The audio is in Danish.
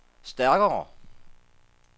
stærkere